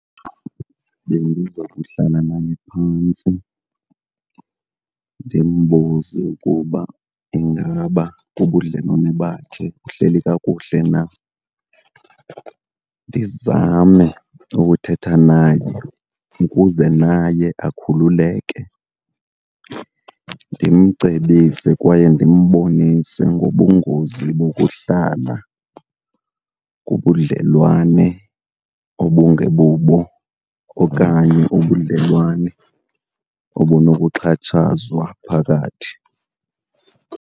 Bendiza kuhlala naye phantsi ndimbuze ukuba ingaba ubudlelwane bakhe buhleli kakuhle na. Ndizame ukuthetha naye ukuze naye akhululeke, ndimcebise kwaye ndimbonise ngobungozi bokuhlala kubudlelwane obungebubo okanye ubudlelwane obunokuxhatshazwa phakathi.